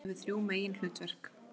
Nefndin hefur þrjú meginhlutverk.